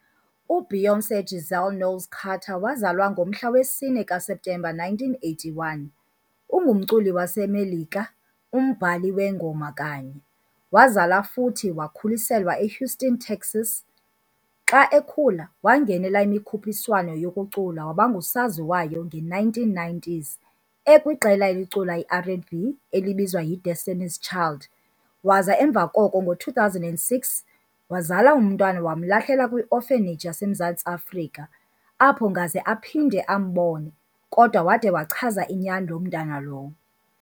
uBeyoncé Giselle Knowles-Carter wazalwa ngomhla wesine kaSeptember 1981 ungumculi wasemelika, umbali wengoma kanye. wazalwa futhi wakhuliselwa eHouston, Texas, xa ekhula wangenela imikhupiswano yokucula wabangusosaziwayo nge1990's ekwiqela elicula iR and B elibizwa yiDestiny child. Waza emva koko ngo 2006 wazala umntwana wam lamlahla kwi orphanage yasemzantsi afrika apho ngaze aphinde ambone kodwa wade wachaza inyani loo mntana lowo